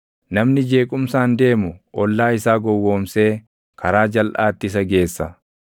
Namni jeequmsaan deemu ollaa isaa gowwoomsee karaa jalʼaatti isa geessa.